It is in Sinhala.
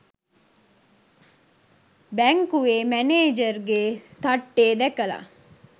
බැංකුවෙ මැනේජර්ගෙ තට්ටෙ දැකලා